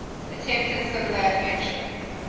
attempted similar adventure